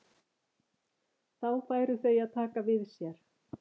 Þá færu þau að taka við sér.